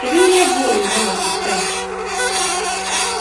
Kedụ ihe bụ oroma na foto a?